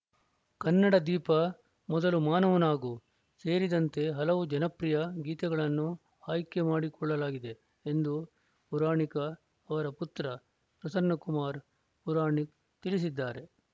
ಕನ್ನಡ ದೀಪ ಮೊದಲು ಮಾನವನಾಗು ಸೇರಿದಂತೆ ಹಲವು ಜನಪ್ರಿಯ ಗೀತೆಗಳನ್ನು ಆಯ್ಕೆ ಮಾಡಿಕೊಳ್ಳಲಾಗಿದೆ ಎಂದು ಪುರಾಣಿಕ ಅವರ ಪುತ್ರ ಪ್ರಸನ್ನಕುಮಾರ್‌ ಪುರಾಣಿಕ್‌ ತಿಳಿಸಿದ್ದಾರೆ